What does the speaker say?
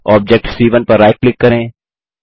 object c 1 पर right click करें